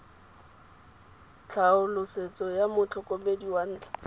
tlhaolosetso ya motlhokomedi wa ntlha